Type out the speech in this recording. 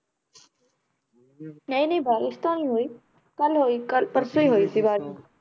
ਨਹੀਂ ਨਹੀਂ ਬਾਰਿਸ਼ ਤਾਂ ਨੀ ਹੋਈ ਕੱਲ੍ਹ ਹੋਈ ਕੱਲ੍ਹ ਪਰਸੋਂ ਹੀ ਹੋਈ ਸੀ